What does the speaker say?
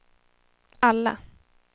alla